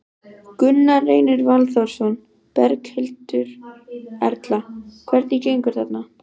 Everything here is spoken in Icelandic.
Gunnar Reynir Valþórsson: Berghildur Erla, hvernig gengur þarna?